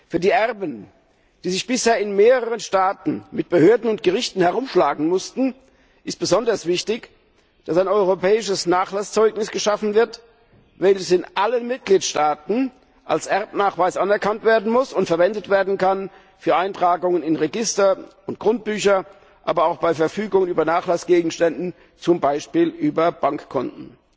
Für die Erben, die sich bisher in mehreren Staaten mit Behörden und Gerichten herumschlagen mussten, ist besonders wichtig, dass ein europäisches Nachlasszeugnis geschaffen wird, welches in allen Mitgliedstaaten als Erbnachweis anerkannt werden muss und verwendet werden kann für Eintragungen in Register und Grundbücher, aber auch bei Verfügungen über Nachlassgegenstände, wie beispielsweise über Bankkonten.